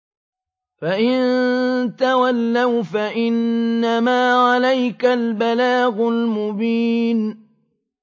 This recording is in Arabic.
فَإِن تَوَلَّوْا فَإِنَّمَا عَلَيْكَ الْبَلَاغُ الْمُبِينُ